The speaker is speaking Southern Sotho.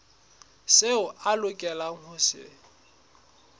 seo a lokelang ho se